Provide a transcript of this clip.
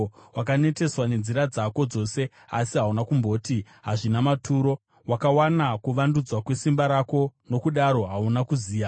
Wakaneteswa nenzira dzako dzose, asi hauna kumboti, ‘Hazvina maturo.’ Wakawana kuvandudzwa kwesimba rako, nokudaro hauna kuziya.